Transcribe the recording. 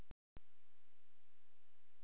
Kristján Már Unnarsson: Hvað veldur?